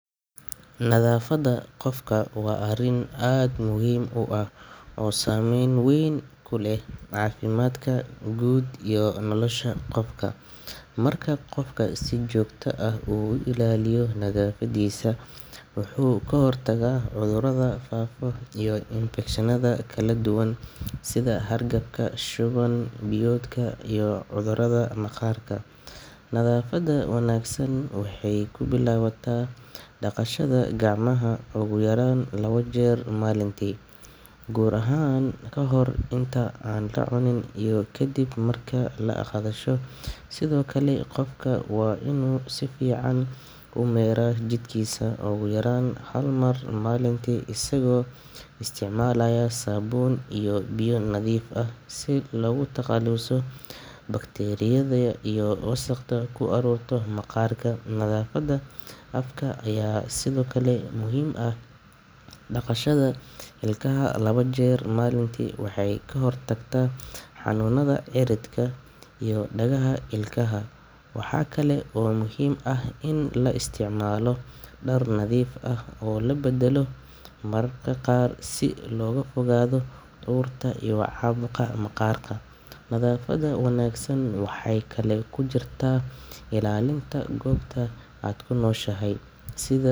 Nadaafadda qofka waa arrin aad muhiim u ah oo saameyn weyn ku leh caafimaadka guud iyo nolosha qofka. Marka qofku si joogto ah u ilaaliyo nadaafaddiisa, wuxuu ka hortagaa cudurrada faafa iyo infekshannada kala duwan sida hargabka, shuban-biyoodka, iyo cudurrada maqaarka. Nadaafadda wanaagsan waxay ka bilaabataa dhaqashada gacmaha ugu yaraan laba jeer maalintii, gaar ahaan ka hor inta aan la cunin iyo kadib marka la kaadsho. Sidoo kale, qofka waa inuu si fiican u mayraa jidhkiisa ugu yaraan hal mar maalintii isagoo isticmaalaya saabuun iyo biyo nadiif ah si looga takhaluso bakteeriyada iyo wasakhda ku ururta maqaarka. Nadaafadda afka ayaa sidoo kale muhiim ah; dhaqashada ilkaha laba jeer maalintii waxay ka hortagtaa xanuunada cirridka iyo dhagaxa ilkaha. Waxa kale oo muhiim ah in la isticmaalo dhar nadiif ah oo la beddelo mararka qaar si looga fogaado urta iyo caabuqa maqaarka. Nadaafadda wanaagsan waxay kaloo ku jirtaa ilaalinta goobta aad ku nooshahay sida.